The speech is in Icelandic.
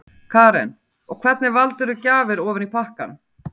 Karen: Og hvernig valdirðu gjafir ofan í pakkann?